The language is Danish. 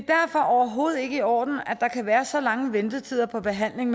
overhovedet ikke i orden at der kan være så lange ventetider på behandling